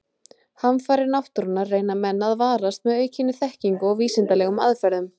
Hamfarir náttúrunnar reyna menn að varast með aukinni þekkingu og vísindalegum aðferðum.